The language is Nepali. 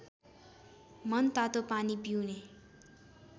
मनतातो पानी पिउने